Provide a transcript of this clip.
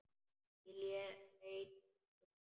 Ég leit í kringum mig.